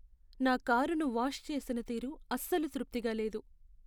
నా కారును వాష్ చేసిన తీరు అస్సలు తృప్తిగా లేదు.